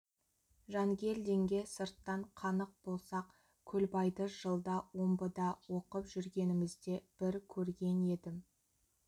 жангелдинге сырттан қанық болсақ көлбайды жылда омбыда оқып жүргенімізде бір көрген едім